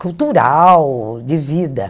cultural, de vida.